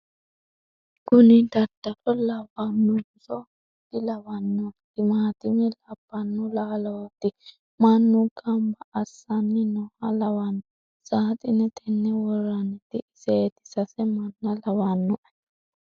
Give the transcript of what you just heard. kuni dadalo lawanonso dilawanno ? timaattime labbanno laalooti. mannu gamba assanni nooha lawanno .saxine tenne worranniti iseeti sase manna lawannoe